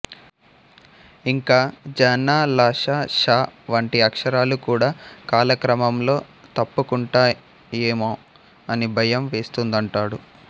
ఇంకా ఝ ణ ళ శ ష వంటి అక్షరాలు కూడ కాలక్రమంలో తప్పుకుంటాయేమోో అని భయం వేస్తోందంటాడు